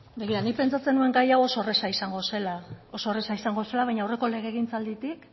da hitza nik pentsatzen nuen gai hau oso erreza izango zela baina aurreko legegintzalditik